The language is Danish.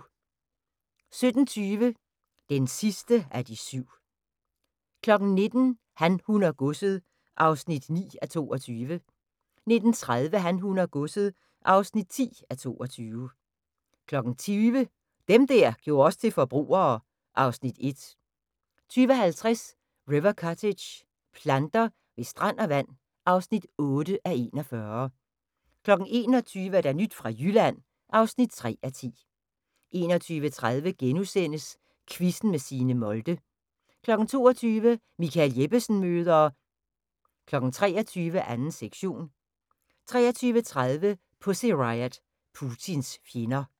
17:20: Den sidste af de syv 19:00: Han, hun og godset (9:22) 19:30: Han, hun og godset (10:22) 20:00: Dem der gjorde os til forbrugere (Afs. 1) 20:50: River Cottage – planter ved strand og vand (8:41) 21:00: Nyt fra Jylland (3:10) 21:30: Quizzen med Signe Molde * 22:00: Michael Jeppesen møder ... 23:00: 2. sektion 23:30: Pussy Riot – Putins fjender